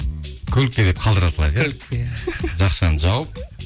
көлікке деп қалдыра салайық иә көлікке иә жақшаны жауып